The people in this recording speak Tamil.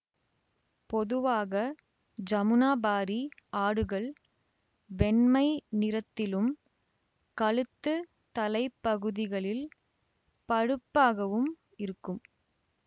பொதுவாக ஜமுனாபாரி ஆடுகள் வெண்மை நிறத்திலும் கழுத்து தலைப்பகுதிகளில் பழுப்பாகவும் இருக்கும்